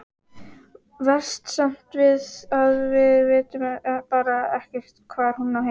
Verst samt að við vitum bara ekkert hvar hún á heima.